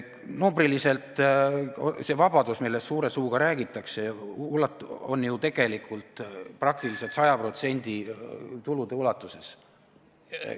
Numbriliselt see vabadus, millest suure suuga räägitakse, on ju praktiliselt 100% tulude ulatuses.